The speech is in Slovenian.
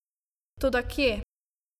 Toda kje?